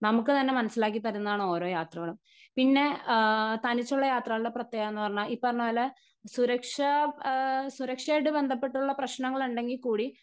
Speaker 1 നമ്മുക്ക് തന്നെ മനസ്സിലാക്കിത്തരുന്നതാണ് ഓരോ യാത്രകളും. പിന്നെ ആ തനിച്ചുള്ള യാത്രകളുടെ പ്രേത്യേകത എന്ന് പറഞ്ഞാൽ ഇപ്പറഞ്ഞ പോലെ സുരക്ഷാ ആ സുരക്ഷയായിട്ടു ബന്ധപ്പെട്ടുള്ള പ്രശ്നങ്ങൾ ഉണ്ടെങ്കിൽ കൂടി.